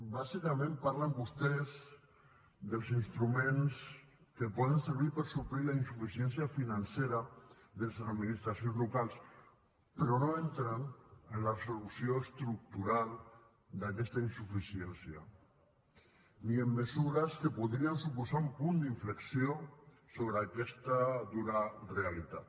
bàsicament parlen vostès dels instruments que poden servir per suplir la insuficiència financera des de les administracions locals però no entren en la resolució estructural d’aquesta insuficiència ni en mesures que podrien suposar un punt d’inflexió per aquesta dura realitat